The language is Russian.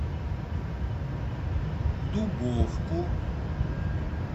дубовку